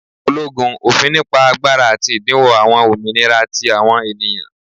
ologun, ofin nipa agbara ati idinwo awọn ominira ti awọn eniyan.